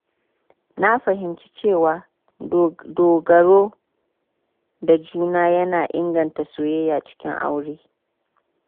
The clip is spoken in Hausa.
Na fahimci cewa dogaro da juna yana inganta soyayya cikin aure.